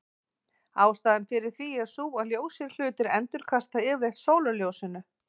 Ástæðan fyrir því er sú að ljósir hlutir endurkasta yfirleitt sólarljósinu.